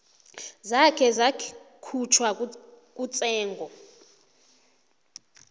zakhe zakhutjhwa kutsengo